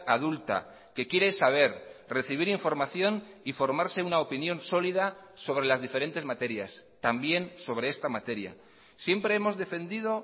adulta que quiere saber recibir información y formarse una opinión sólida sobre las diferentes materias también sobre esta materia siempre hemos defendido